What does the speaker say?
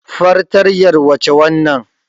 Fatrtanyar wace wannan?